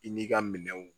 I n'i ka minɛnw